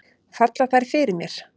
Falla þær fyrir mér?